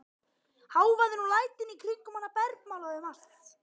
Hávaðinn og lætin í kringum hana bergmálaði um allt.